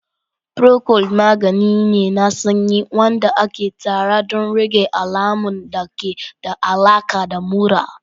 Procold magani ne na sanyi wanda aka tsara don rage alamun da ke da alaƙa da mura.